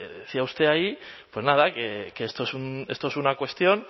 decía usted ahí que esta es una cuestión